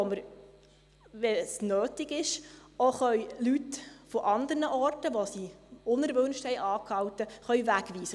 Auf diesen können wir, wenn es nötig ist, auch Leute von anderen Orten, an denen sie unerwünscht Halt machten, wegweisen.